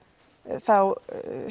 þá